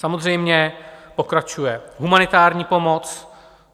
Samozřejmě pokračuje humanitární pomoc.